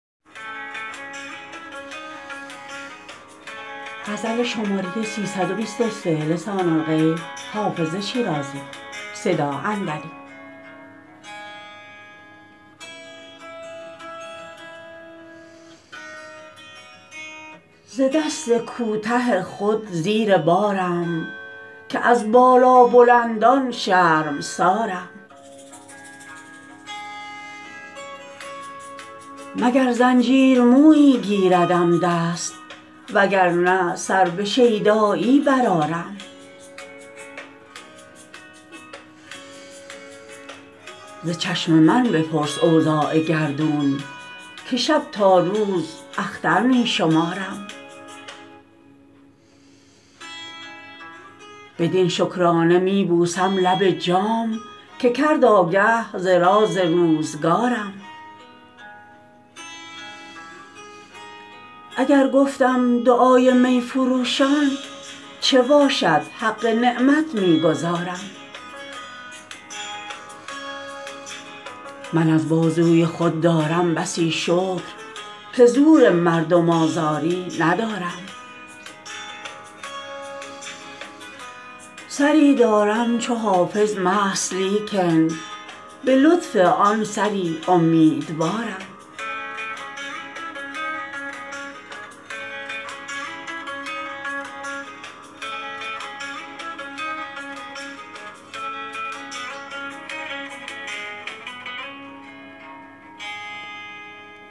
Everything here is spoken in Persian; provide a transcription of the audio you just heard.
ز دست کوته خود زیر بارم که از بالابلندان شرمسارم مگر زنجیر مویی گیردم دست وگر نه سر به شیدایی برآرم ز چشم من بپرس اوضاع گردون که شب تا روز اختر می شمارم بدین شکرانه می بوسم لب جام که کرد آگه ز راز روزگارم اگر گفتم دعای می فروشان چه باشد حق نعمت می گزارم من از بازوی خود دارم بسی شکر که زور مردم آزاری ندارم سری دارم چو حافظ مست لیکن به لطف آن سری امیدوارم